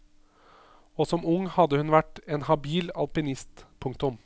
Og som ung hadde hun vært en habil alpinist. punktum